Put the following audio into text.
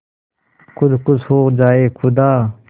खुद खुश हो जाए खुदा